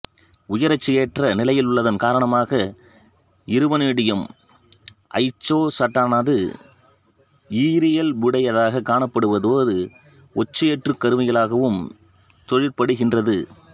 உயரொட்சியேற்ற நிலையிலுள்ளதன் காரணமாக இருவனேடியம் ஐயொட்சைட்டானது ஈரியல்புடையதாகக் காணப்படுவதோடு ஒட்சியேற்றுங் கருவியாகவும் தொழிற்படுகின்றது